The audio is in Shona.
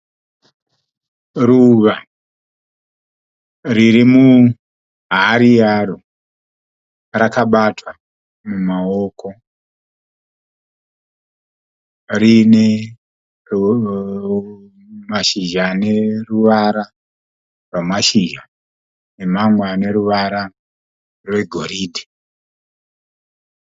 Ruva ririmuhari yaro rakabatwa mumaoko. Rine mashizha aneruvara rwemashizha neamwe aneruvara rwegoridhe.